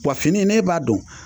Wa fini in ne b'a don